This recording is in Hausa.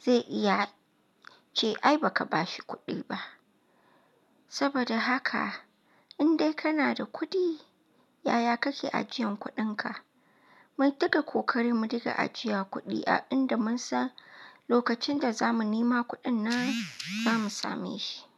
zai iya ce ai baka ba shi kuɗi ba. Saboda haka in dai kana da kuɗi, yaya kake ajiyan kuɗinka? Mu daga kokari mu daga ajiya kuɗi a inda mun san lokacin da zamu nema kuɗin nan za mu same shi.